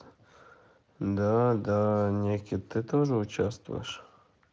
да-да никит ты тоже участвуешь